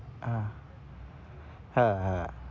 আহ হ্যাঁ, হ্যাঁ।